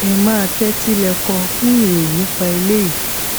ẹ máa tẹtí lẹkọ fún ìròyìn nípa eléyìí